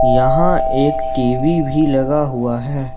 यहां एक टी_वी भी लगा हुआ है।